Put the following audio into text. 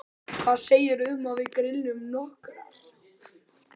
Hvað segirðu um að við grillum nokkrar?